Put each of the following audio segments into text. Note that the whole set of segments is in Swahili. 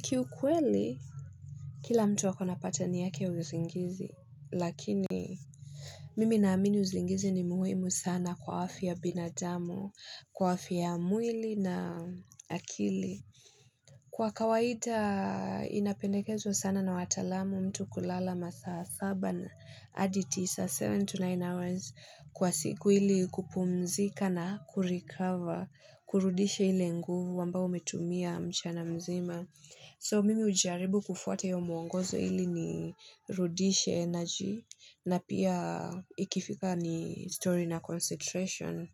Kiukweli Kila mtu ako na pattern yake ya uzingizi lakini Mimi naamini usingizi ni muhimu sana kwa afya binadamu kwa afya mwili na akili Kwa kawaida inapendekezwa sana na wataalamu mtu kulala masaa saba na adi tisa seven to nine hours kwa siku ili kupumzika na kurecover kurudisha ile nguvu ambayo umetumia mchana mzima So mimi hujaribu kufuata hiyo muongozo ili nirudishe energy na pia ikifika ni story na concentration.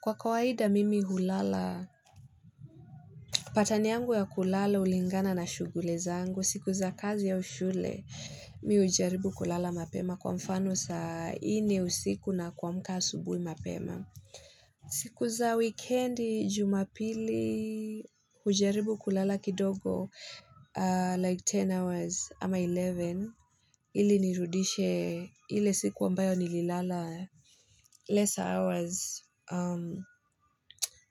Kwa kawaida mimi hulala pattern yangu ya kulala hulingana na shughuli zangu siku za kazi au shule mi hujaribu kulala mapema kwa mfano saa nne usiku na kuamka asubui mapema. Siku za wikendi jumapili hujaribu kulala kidogo like 10 hours ama 11. Ili nirudishe ile siku ambayo nililala lesser hours.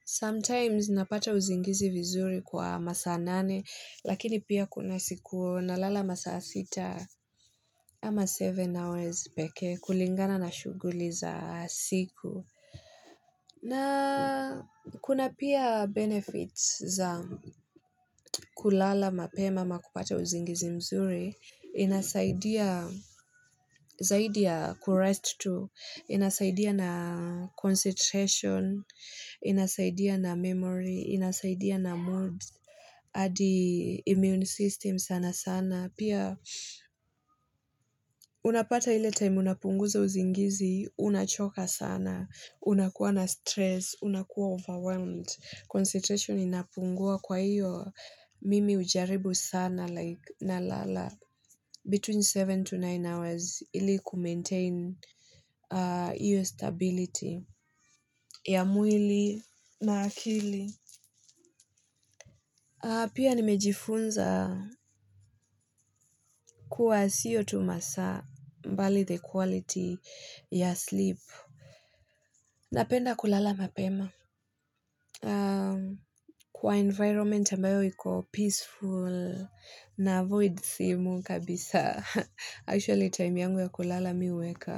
Sometimes napata uzingizi vizuri kwa masaa nane lakini pia kuna siku nalala masaa sita ama 7 hours pekee kulingana na shughuli za siku. Na kuna pia benefits za kulala mapema ama kupata uzingizi mzuri, inasaidia zaidi ya kurest tu, inasaidia na concentration, inasaidia na memory, inasaidia na mood, hadi immune system sana sana. Na pia unapata ile time unapunguza uzingizi, unachoka sana, unakuwa na stress, unakuwa overwhelmed, concentration inapungua kwaiyo mimi hujaribu sana like nalala between 7 to 9 hours ili kumaintain iyo stability ya mwili na akili. Pia nimejifunza kuwa siyo tu masaa mbali the quality ya sleep. Napenda kulala mapema. Kwa environment ambayo iko peaceful naavoid simu kabisa. Actually time yangu ya kulala mi huweka.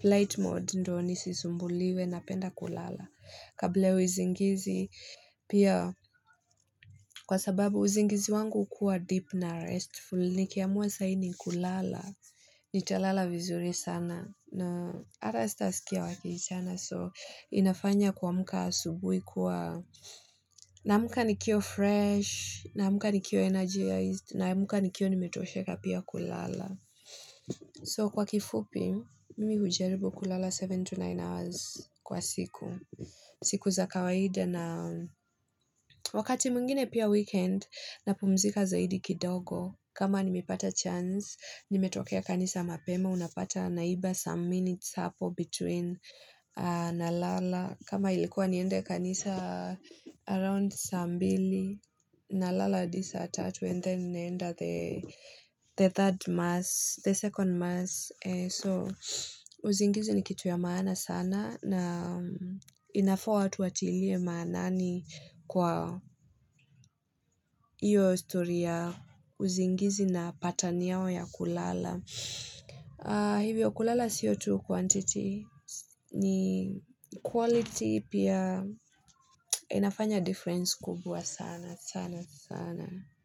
Flight mode ndo nisisumbuliwe napenda kulala. Kable ya uzingizi. Pia kwa sababu uzingizi wangu hukuwa deep na restful. Nikiamua saa hii ni kulala nitalala vizuri sana na ata sitasikia wakiitana so inafanya kuamka asubui kuwa naamka nikiwa fresh naamka nikiwa energized naamka nikiwa nimetosheka pia kulala so kwa kifupi mimi hujaribu kulala 7 to 9 hours kwa siku siku za kawaida na wakati mwengine pia weekend napumzika zaidi kidogo kama nimepata chance Nimetokea kanisa mapema, unapata naiba some minutes hapo between nalala. Kama ilikuwa niende kanisa around saa mbili nalala hadi saa tatu and then nenda the third mass, the second mass. So, uzingizi ni kitu ya maana sana na inafaa watu watilie maanani kwa iyo stori ya uzingizi na pattern yao ya kulala. Hivyo kulala sio tu quantity ni quality pia inafanya difference kubwa sana sana sana.